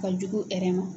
Ka jugu